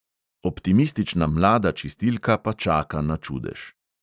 Optimistična mlada čistilka pa čaka na čudež.